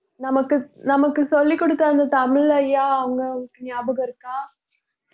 நமக்கு நமக்கு சொல்லிக் கொடுத்த அந்த தமிழய்யா ஞாபகம் இருக்கா